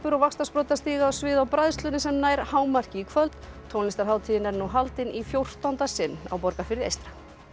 og vaxtarsprotar stíga á svið á bræðslunni sem nær hámarki í kvöld tónlistarhátíðin er nú haldin í fjórtánda sinn á Borgarfirði eystra